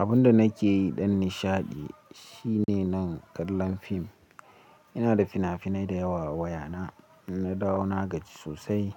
Abunda nake yi dan nishaɗi shine nan kallon fim. Ina da fina-finai dayawa wayana, idan na dawo nagaji sosai